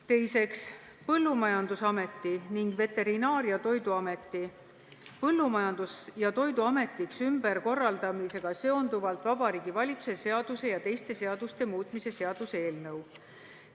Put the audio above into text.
Teiseks, Põllumajandusameti ning Veterinaar- ja Toiduameti Põllumajandus- ja Toiduametiks ümberkorraldamisega seonduvalt Vabariigi Valitsuse seaduse ja teiste seaduste muutmise seaduse eelnõu.